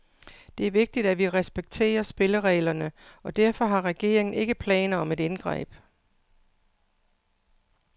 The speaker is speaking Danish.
Det er vigtigt, at vi respekterer spillereglerne, og derfor har regeringen ikke planer om et indgreb.